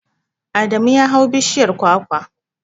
Adamu ya hau bishiyar kwakwar.